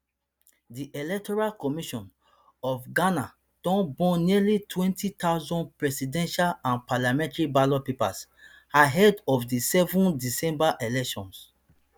di electoral commission of ghana don burn nearly twenty thousand presidential and parliamentary ballot papers ahead of di seven december elections